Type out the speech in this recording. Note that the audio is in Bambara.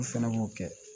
U fɛnɛ b'o kɛ